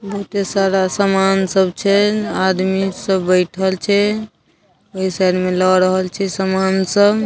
बहुते सारा सामान सब छे आदमी सब बईठल छे ओहि साइड में लए रहल छे समान सब--